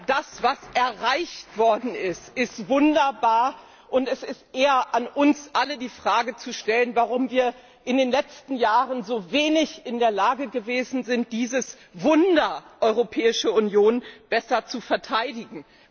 Das was erreicht worden ist, ist wunderbar und es ist eher an uns allen die Fragen zu stellen, warum wir in den letzten Jahren so wenig in der Lage gewesen sind, dieses Wunder Europäische Union besser zu verteidigen.